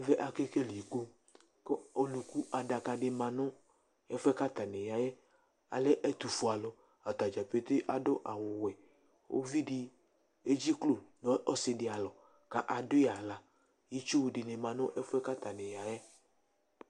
ɛfuɛ ka kekele iku ku ɔluku adaka di ma nu ɛfuɛ kayani yayɛ alɛ ɛtufue ata dza pete adu awuuvidi edziklo nu ɔsidi alɔ ka adui aɣla alu adu awu ɣɛ ɔsidi alɔ ka adui aɣlaitsu dini ma nu ɛfuɛ ka tani yayɛ